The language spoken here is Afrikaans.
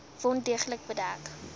wond deeglik bedek